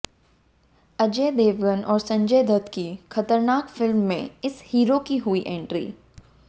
अजय देवगन और संजय दत्त की खतरनाक फिल्म में इस हीरो की हुई एंट्री